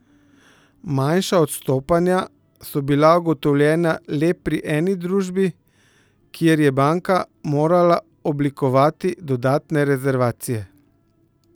Manjša odstopanja so bila ugotovljena le pri eni družbi, kjer je banka morala oblikovati dodatne rezervacije.